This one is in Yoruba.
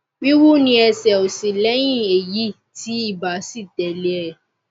wíwú ní ẹsẹ òsì lẹyìn èyí tí ibà sì tẹlé e